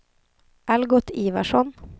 Algot Ivarsson